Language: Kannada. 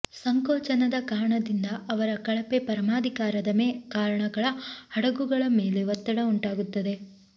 ಸಂಕೋಚನದ ಕಾರಣದಿಂದ ಅವರ ಕಳಪೆ ಪರಮಾಧಿಕಾರದ ಕಾರಣ ಹಡಗುಗಳ ಮೇಲೆ ಒತ್ತಡ ಉಂಟಾಗುತ್ತದೆ